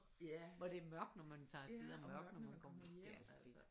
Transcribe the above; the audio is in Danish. Hvor det er mørkt når man tager afsted og mørkt når man kommer det altså fedt